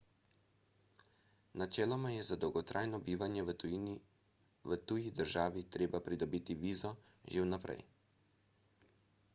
načeloma je za dolgotrajno bivanje v tuji državi treba pridobiti vizo že vnaprej